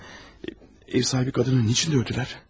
Nastasya, ev sahibi qadını niçin döydülər?